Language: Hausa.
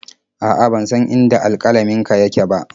A'a, ban san inda alƙalaminka yake ba.